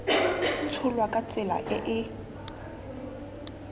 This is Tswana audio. tsholwa ka tsela e e